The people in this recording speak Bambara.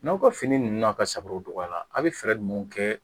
N'aw ka fini ninnu na ka sabow dɔgɔya a' bɛ fɛɛrɛ ninnu kɛ